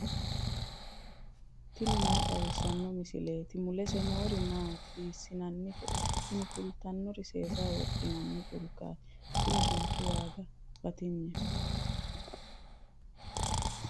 tini maa xawissanno misileeti ? mulese noori maati ? hiissinannite ise ? tini kultannori seesaho wodhinanni culkaati. kuni culkki waaga batinyeho.